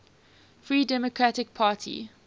free democratic party